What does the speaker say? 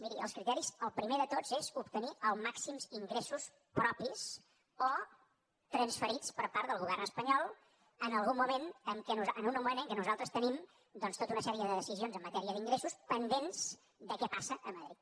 miri dels criteris el primer de tots és obtenir els màxims ingressos propis o transferits per part del govern espanyol en un moment en què nosaltres tenim doncs tota una sèrie de decisions en matèria d’ingressos pendents de què passa a madrid